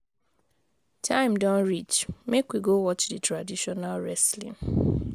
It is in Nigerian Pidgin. Time don reach, make we go watch di traditional wrestling.